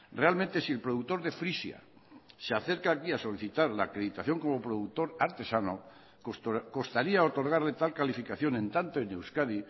realmente si el productor de frisia se acerca aquí a solicitar la acreditación como productor artesano costaría otorgarle tal calificación en tanto en euskadi